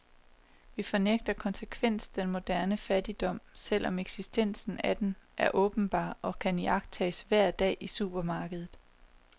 Vi fornægter konsekvent den moderne fattigdom, selv om eksistensen af den er åbenbar og kan iagttages hver dag i supermarkedet.